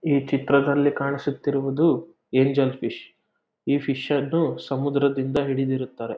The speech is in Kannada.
ಈ ಚಿತ್ರದಲ್ಲಿ ಕಾಣಿಸುತ್ತಿರುವುದು ಎಂಜಲ್ ಫಿಶ್ ಈ ಫಿಶ್ ಅನ್ನು ಸಮುದ್ರದಿಂದ ಹಿಡಿದಿರುತ್ತಾರೆ.